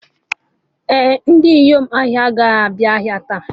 Ee, Ndị inyom ahịa agaghị abịa taa